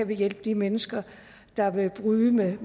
vi kan hjælpe de mennesker der vil bryde med